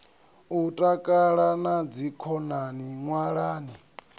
u takala na dzikhonani ṅwalani